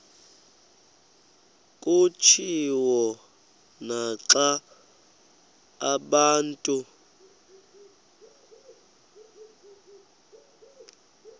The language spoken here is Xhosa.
kutshiwo naxa abantu